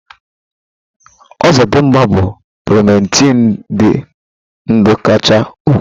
Ozodimgba bụ primetii dị ndụ kachasị ukwuu.